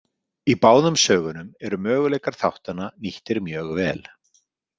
Í báðum sögunum eru möguleikar þáttanna nýttir mjög vel.